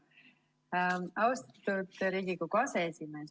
Austatud Riigikogu aseesimees!